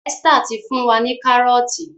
Esther tí fún wá ní Kárọ́ọ̀tì